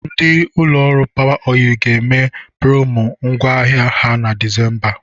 Ndị ụlọ Power oil ga-eme promo ngwá ahịa ha na Disemba.